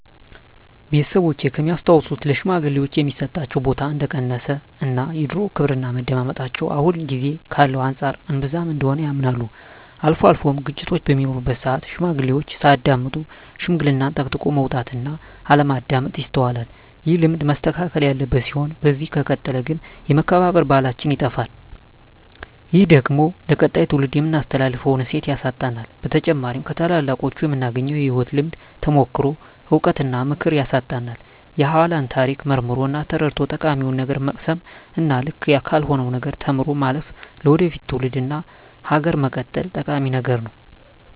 ቤተሰቦቼ ከሚያስታውሱት ለሽማግሌወች የሚሰጣቸው ቦታ እንደቀነሰ እና የድሮው ክብርና መደመጣቸው አሁን ጊዜ ካለው አንፃር እንብዛም እንደሆነ ያምናሉ። አልፎ አልፎም ግጭቶች በሚኖሩበት ስአት ሽማግሌዎችን ሳያዳምጡ ሽምግልናን ጠቅጥቆ መውጣት እና አለማዳመጥ ይስተዋላል። ይህ ልማድ መስተካከል ያለበት ሲሆን በዚህ ከቀጠለ ግን የመከባበር ባህላችን ይጠፋል። ይህ ደግሞ ለቀጣይ ትውልድ የምናስተላልፈውን እሴት ያሳጣናል። በተጨማሪም ከታላላቆቹ የምናገኘውን የህይወት ልምድ፣ ተሞክሮ፣ እውቀት እና ምክር ያሳጣናል። የኃላን ታሪክ መርምሮ እና ተረድቶ ጠቃሚውን ነገር መቅሰም እና ልክ ካልሆነው ነገር ተምሮ ማለፍ ለወደፊት ትውልድ እና ሀገር መቀጠል ጠቂሚ ነገር ነው።